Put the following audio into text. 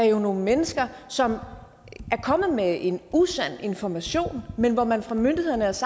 jo er nogle mennesker som er kommet med en usand information men hvor man fra myndighedernes